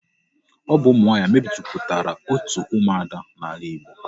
Ọ bụ ụmụ nwaanyị mejupụtara otu ụmụada n'ala Igbo.